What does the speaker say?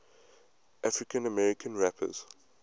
african american rappers